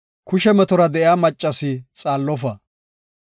“Kushe metora de7iya maccasi xaallofa.